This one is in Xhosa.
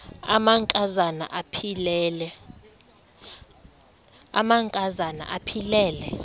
amanka zana aphilele